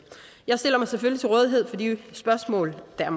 jeg stiller mig selvfølgelig til rådighed for de spørgsmål der